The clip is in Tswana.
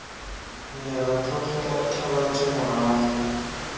ne ra tlogela thabantsho morago